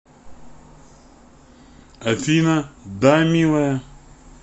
афина да милая